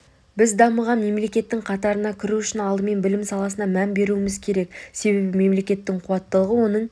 біз дамыған мемлекеттің қатарына кіру үшін алдымен білім саласына мән беруіміз керек себебі мемлекеттің қуаттылығы оның